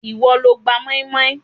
Ìwọ lo gba moinmoin